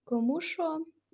кому что